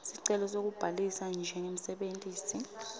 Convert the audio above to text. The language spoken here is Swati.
sicelo sekubhalisa njengemsebentisi